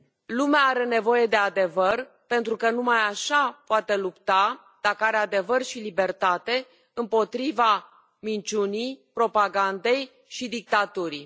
Lumea are nevoie de adevăr, pentru că numai așa poate lupta, dacă are adevăr și libertate, împotriva minciunii, propagandei și dictaturii.